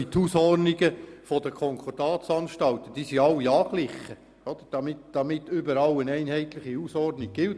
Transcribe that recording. Die Hausordnungen der Konkordatsanstalten sind alle angeglichen, damit überall eine einheitliche Hausordnung gilt.